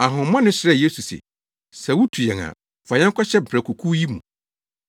Ahonhommɔne no srɛɛ Yesu se, “Sɛ wutu yɛn a, fa yɛn kɔhyɛ mprakokuw yi mu.”